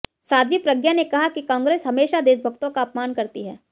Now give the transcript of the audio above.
साध्वी प्रज्ञा ने कहा कि कांग्रेस हमेशा देशभक्तों का अपमान करती है